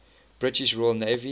british royal navy